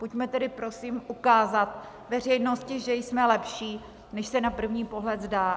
Pojďme tedy prosím ukázat veřejnosti, že jsme lepší, než se na první pohled zdá.